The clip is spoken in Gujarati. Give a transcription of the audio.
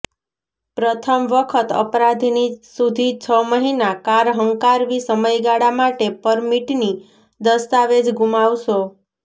પ્રથમ વખત અપરાધીની સુધી છ મહિના કાર હંકારવી સમયગાળા માટે પરમિટની દસ્તાવેજ ગુમાવશો